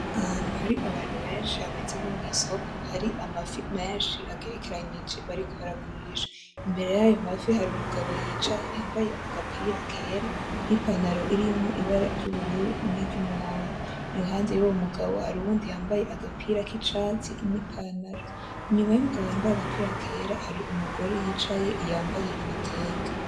Ahantu hari Abantu benshi hameze nko mwisoko hari amafi menshi agerekeranije bariko baragurisha ,imbere yayo mafi har'Umugabo yicaye yambaye agapira kera ,n'ipantaro irimwo Ibara ry'ubururu n'iry' umuhondo ,iruhande y'uwo mugabo har'uwundi yambaye agapira kicatsi ni pantaro. Inyuma y'uwo mugabo yambaye agapira kera ,har umugore yicaye yambaye ibitenge.